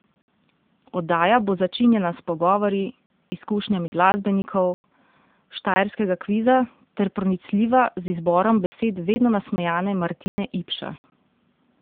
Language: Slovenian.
Oddaja bo začinjena s pogovori, izkušnjami glasbenikov, Štajerskega kviza ter pronicljiva z izborom besed vedno nasmejane Martine Ipša.